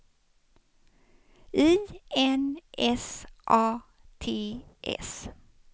I N S A T S